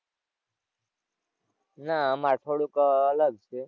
નાં આમાં થોડુંક અલગ છે.